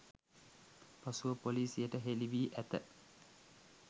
පසුව පොලිසියට හෙළිවී ඇත